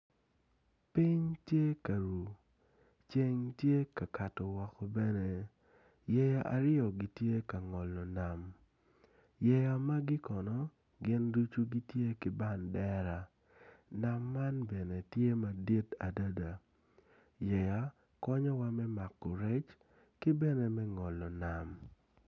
Piny tye ka ruu ceng tye ka kato woko bene yeya aryo gitye ka ngolo nam yaya magi kono gin ducu gitye ki bandera nama man ben e tye madit adada.